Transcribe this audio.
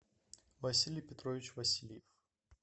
василий петрович васильев